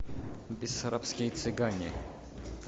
бессарабские цыгане